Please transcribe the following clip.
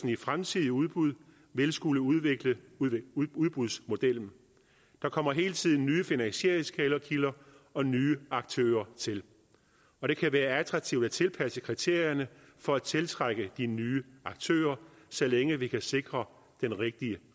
i fremtidige udbud vil skulle udvikle udbudsmodellen der kommer hele tiden nye finansieringskilder og nye aktører til og det kan være attraktivt at tilpasse kriterierne for at tiltrække de nye aktører så længe vi kan sikre den rigtige